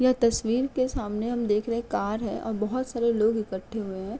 यह तस्वीर के सामने हम देख रहे हैं कार है और बोहत सारे लोग इकठे हुए हैं।